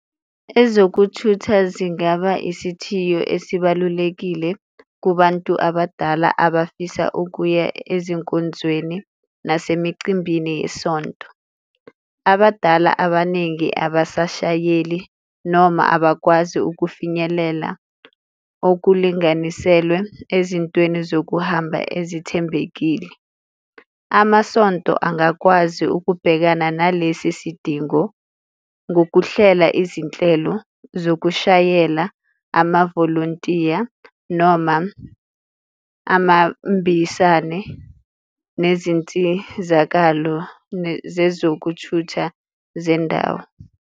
Ezokuthutha zingaba isithiyo esibalulekile kubantu abadala abafisa ukuya ezinkonzweni nasemicimbini yesonto, abadala abaningi abasashayeli noma abakwazi ukufinyelela okulinganiselwe ezintweni zokuhamba ezithembekile. Amasonto angakwazi ukubhekana nalesi sidingo ngokuhlela izinhlelo zokushayela, amavolontiya noma amambisane nezinsizakalo zezokuthutha zendawo.